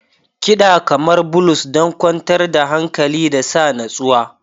Kiɗa kamar blues don kwantar da hankali da sa natsuwa.